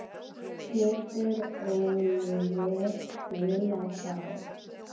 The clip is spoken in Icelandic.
Getur Oliver spilað þá?